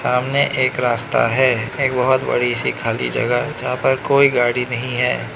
सामने एक रास्ता है एक बहोत बड़ी सी खाली जगह जहां पर कोई गाड़ी नहीं है।